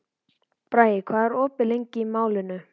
Bragi, hvað er opið lengi í Málinu?